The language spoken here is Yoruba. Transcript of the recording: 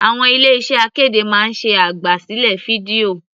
Àwọn ilé iṣẹ́ akéde máa ń ṣe àgbà sílẹ̀ fídíò.